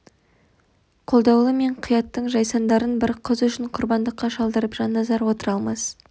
қолдаулы мен қияттың жайсандарын бір қыз үшін құрбандыққа шалдырып жанназар отыра алмас